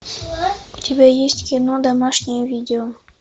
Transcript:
у тебя есть кино домашнее видео